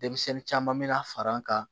Denmisɛnnin caman bɛ na fara an kan